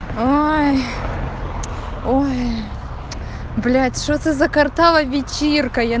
ой ой блядь что это за квартала вич иркой